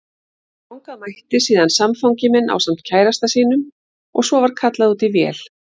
Þangað mætti síðan samfangi minn ásamt kærasta sínum og svo var kallað út í vél.